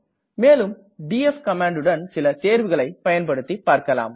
மேலும் டிஎஃப் கமாண்டுடன் சில தேர்வுகளை பயன்படுத்தி பார்க்களாம்